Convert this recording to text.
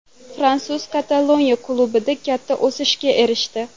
Fransuz Kataloniya klubida katta o‘sishga erishdi.